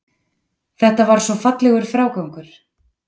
Þetta var svo fallegur frágangur.